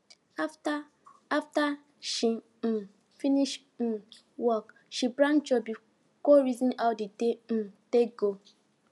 after after she um finish um work she branch church go reason how the day um take go